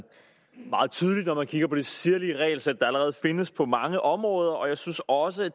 meget tydeligt når man kigger på det sirlige regelsæt der allerede findes på mange områder og jeg synes også